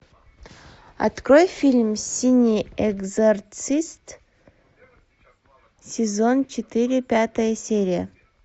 открой фильм синий экзорцист сезон четыре пятая серия